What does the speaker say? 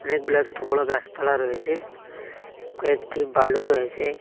অনেকগুলা ছোট বড়ো গাসপালা রয়েসে কয়েকটি বালু রয়েসে।